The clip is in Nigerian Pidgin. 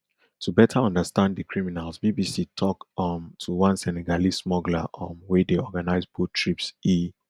to better understand di criminals bbc tok um to one senegalese smuggler um wey dey organise boat trips e